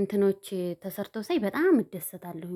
እንትኖች ተሰርቶ ሳይ በጣም እደሰታለሁ